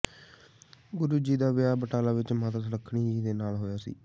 ਗੁਰੂ ਜੀ ਦਾ ਵਿਆਹ ਬਟਾਲਾ ਵਿੱਚ ਮਾਤਾ ਸੁਲੱਖਣੀ ਜੀ ਨਾਲ ਹੋਇਆ ਸੀ